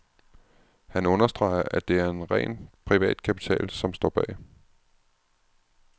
Han understreger, at det er ren privat kapital, som står bag.